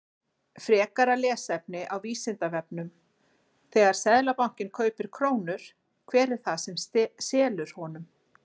Frekara lesefni á Vísindavefnum: Þegar Seðlabankinn kaupir krónur, hver er það sem selur honum?